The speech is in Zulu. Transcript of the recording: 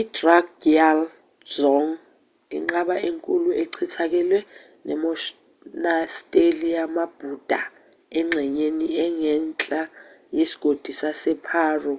i-drukgyal dzong inqaba enkulu echithakele nemonasteli yamabhuda engxenyeni engenhla yesigodi saseparo